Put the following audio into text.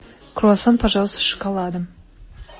круассан пожалуйста с шоколадом